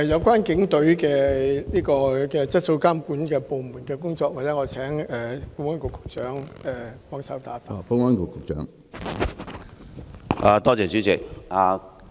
關於警隊質素監管部門的工作，我請保安局局長協助回答。